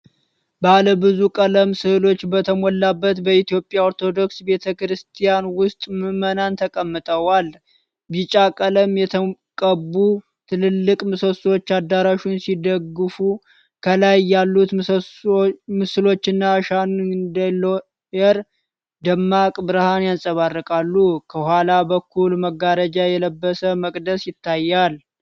ባለብዙ ቀለም ሥዕሎች በተሞላበት በኢትዮጵያ ኦርቶዶክስ ቤተ ክርስቲያን ውስጥ ምዕመናን ተቀምጠዋል። ቢጫ ቀለም የተቀቡ ትልልቅ ምሰሶዎች አዳራሹን ሲደግፉ፣ ከላይ ያሉት ምስሎችና ሻንዳሊየር ደማቅ ብርሃን ያንጸባርቃሉ። ከኋላ በኩል መጋረጃ የለበሰ መቅደስ ይታያል።